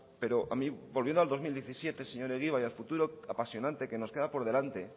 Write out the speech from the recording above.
pero a mí volviendo al dos mil diecisiete señor egibar y al futuro apasionante que nos queda por delante